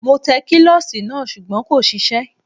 Mo tẹ kílọ̀sì náà sùgbọ́n kò ṣiṣẹ́